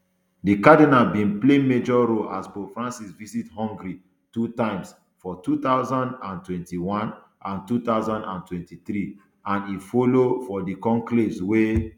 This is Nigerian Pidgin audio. di cardinal bin play major role as pope francis visit hungary two times for two thousand and twenty-one and two thousand and twenty-three and e follow for di conclaves weh